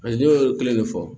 ne y'o kelen de fɔ